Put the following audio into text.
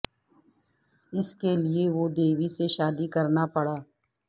اس کے لئے وہ دیوی سے شادی کرنا پڑا